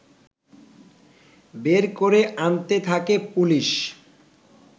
বের করে আনতে থাকে পুলিশ